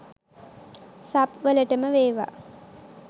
Sub වලටම වෙවා!